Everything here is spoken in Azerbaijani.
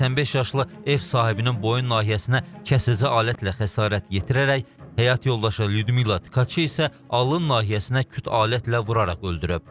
O 85 yaşlı ev sahibinin boyun nahiyəsinə kəsici alətlə xəsarət yetirərək həyat yoldaşı Lyudmila Tkaçə isə alın nahiyəsinə küt alətlə vuraraq öldürüb.